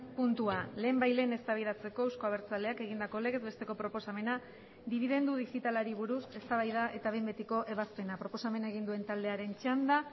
puntua lehenbailehen eztabaidatzeko euzko abertzaleak egindako legez besteko proposamena dibidendu digitalari buruz eztabaida eta behin betiko ebazpena proposamena egin duen taldearen txanda